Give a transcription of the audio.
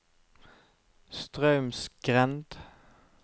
Straumsgrend